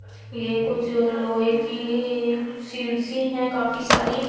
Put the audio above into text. ये कुछ लोहे की सीड्स ही हैं काफी सारी.